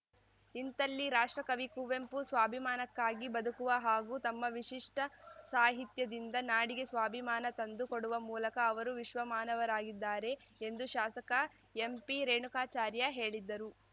ಇಂಥಲ್ಲಿ ರಾಷ್ಟ್ರಕವಿ ಕುವೆಂಪು ಸ್ವಾಭಿಮಾನಕ್ಕಾಗಿ ಬದುಕುವ ಹಾಗೂ ತಮ್ಮ ವಿಶಿಷ್ಟಸಾಹಿತ್ಯದಿಂದ ನಾಡಿಗೆ ಸ್ವಾಭಿಮಾನ ತಂದು ಕೊಡುವ ಮೂಲಕ ಅವರು ವಿಶ್ವಮಾನವರಾಗಿದ್ದಾರೆ ಎಂದು ಶಾಸಕ ಎಂಪಿರೇಣುಕಾಚಾರ್ಯ ಹೇಳಿದ್ದರು